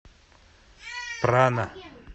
прана